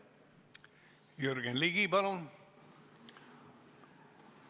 Jürgen Ligi, palun!